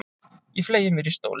Ég fleygi mér í stólinn.